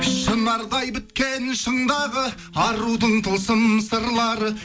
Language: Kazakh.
шынардай біткен шындағы арудың тылсым сырлары